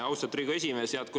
Austatud Riigikogu esimees!